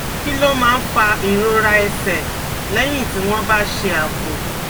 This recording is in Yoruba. Kí ló máa ń fa ìrora ẹsẹ̀ lẹ́yìn tí wọ́n bá ṣe àpò?